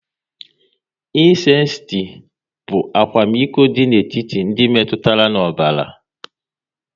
Ịsensti bụ akwamiko dị n'etiti ndị metụtara n'ọbara